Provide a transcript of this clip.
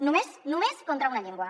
només només contra una llengua